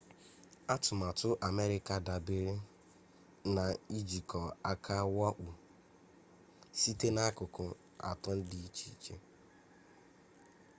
atụmatụ amerịka dabeere na ijikọ aka wakpoo site n'akụkụ atọ dị iche iche